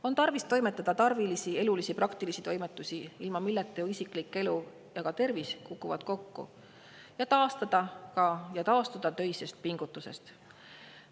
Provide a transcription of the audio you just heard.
On tarvis toimetada tarvilikke, elulisi ja praktilisi toimetusi, ilma milleta ju isiklik elu ja ka tervis kukuvad kokku, ja taastuda töisest pingutusest.